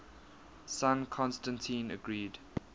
son constantine agreed